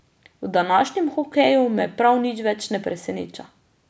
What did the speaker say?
V današnjem hokeju me prav nič več ne preseneča.